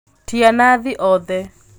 Tīa Nathi othe